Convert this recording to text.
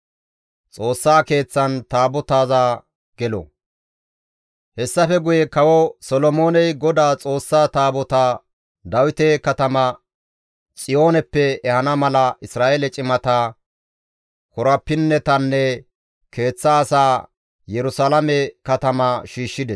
Hessafe guye Kawo Solomooney Godaa Xoossa Taabotaa Dawite Kataman Xiyooneppe ehana mala Isra7eele cimata, korapinnetanne keeththa asaa Yerusalaame katamaa shiishshides.